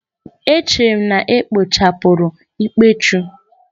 Echere m na ekpochapụrụ ikpechu